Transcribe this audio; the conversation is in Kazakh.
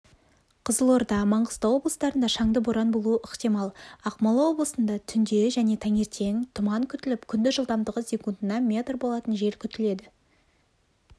қызылорда маңғыстау облыстарында шаңды боран болуы ықтимал ақмола облысында түнде және таңертең тұман күтіліп күндіз жылдамдығы секундына метр болатын жел күтіледі